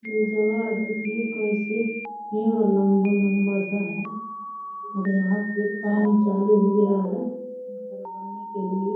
ये जगह देखिये कैसे पेड़ लम्बा-लम्बा सा है और यहाँ पे काम चालू हो गया है घर बनने के लिए --